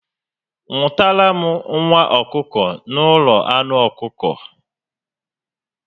Nwụtara m nwa ọkụkọ na ụlọ anụ ọkụkọ